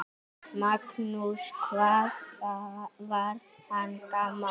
Magnús: Hvað var hann gamall?